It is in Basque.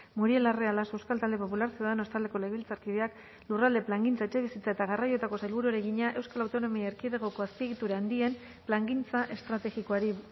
muriel larrea laso euskal talde popular ciudadanos taldeko legebiltzarkideak lurralde plangintza etxebizitza eta garraioetako sailburuari egina eaeko azpiegitura handien plangintza estrategikoari